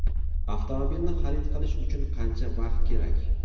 Avtomobilni xarid qilish uchun qancha vaqt kerak?